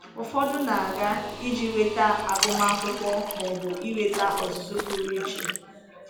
Ụfọdụ na-aga iji nweta agụmakwụkwọ ma ọ bụ inweta ọzụzụ pụrụ iche.